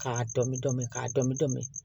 K'a dɔnmi dɔnmi k'a dɔnmi dɔn